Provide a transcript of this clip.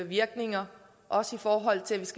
virkninger også i forhold til at